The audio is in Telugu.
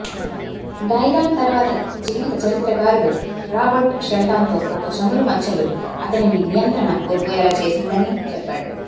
డైలాన్ తరువాత జీవితచరిత్రకారుడు రాబర్ట్ షెల్టాన్తో ఒక చమురు మచ్చలు అతనిని నియంత్రణ కోల్పోయేలా చేసిందని చెప్పాడు